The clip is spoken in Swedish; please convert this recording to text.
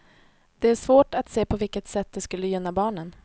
Det är svårt att se på vilket sätt det skulle gynna barnen.